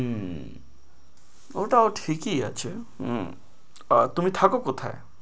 উম ওটাও ঠিকই আছে উম আহ তুমি থাকো কোথায়?